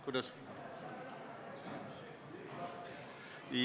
Kuidas?